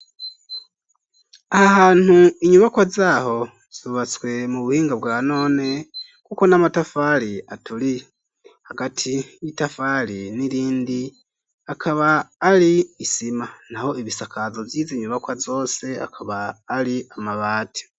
Aha hantu inyubakwa zaho zubatswe mu buhinga bwa none, kuko n'amatafari aturiye. Hagati y'itafari n'irindi akaba ari isima. Naho ibisakazo vyizi nyubakwa zose akaba ari amabati.